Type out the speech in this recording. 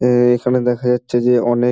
এ এ এখানে দেখা যাচ্ছে যে অনেক--